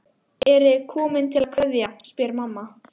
Eruð þið komin til að kveðja, spyr mamma.